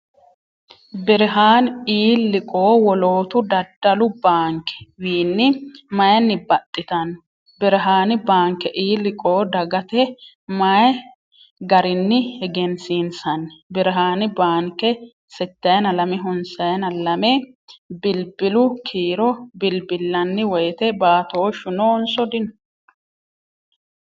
Birihaani E-liqoo wolootu daddallu banke wiinni mayinni baxxitanno ? Birihaani baanke E-liqoo dagate maayi garrinni egensiinsanni ? Birihaanni baanke "8292" bilbilu kiiro bilbillanni woyte baatooshshu noonso dino ?